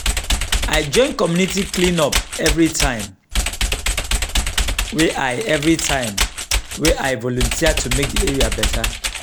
i join community clean up everytime wey i everytime wey i volunteer to make di area better.